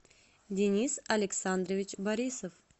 денис александрович борисов